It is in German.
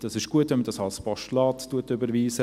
Es ist gut, wenn man dies als Postulat überweist.